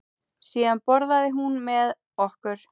Síðan borðaði hún með okkur.